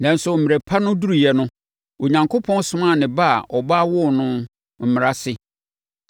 Nanso, mmerɛ pa no duruiɛ no, Onyankopɔn somaa ne Ba a ɔbaa woo no Mmara ase